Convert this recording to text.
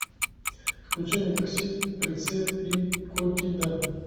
включи мне такси прицеп и коррида